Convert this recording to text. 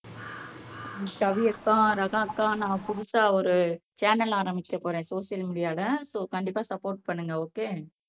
கவி அக்கா ரஹா அக்கா நான் புதுசா ஒரு சேனல் ஆரம்பிக்க போறேன் சோசியல் மீடியால சோ கண்டிப்பா சப்போர்ட் பண்ணுங்க ஓகே